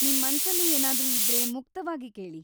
ನಿಮ್ ಮನ್ಸಲ್ಲಿ ಏನಾದ್ರೂ ಇದ್ರೆ ಮುಕ್ತವಾಗಿ ಕೇಳಿ.